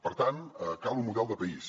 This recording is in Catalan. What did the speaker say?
per tant cal un model de país